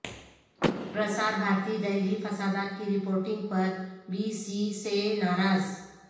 پرسار بھارتی دہلی فسادات کی رپورٹنگ پر بی سی سے ناراض